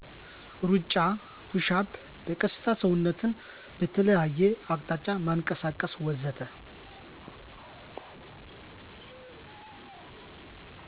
እሩጫ፣ ፑሽአፕ፣ በቀስታ ሰውነትን በተለያየ አቅጣጫ ማንቀሳቀስ ወዘተ....